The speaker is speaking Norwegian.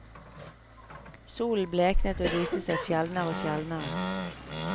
Solen bleknet og viste seg sjeldnere og sjeldnere.